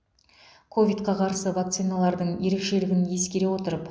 ковидқа қарсы вакциналардың ерекшелігін ескере отырып